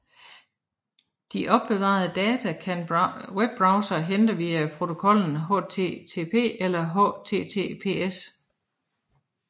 De opbevarede data kan webbrowsere hente via protokollen HTTP eller HTTPS